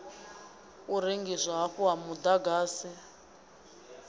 u rengiswa hafhu ha muḓagasi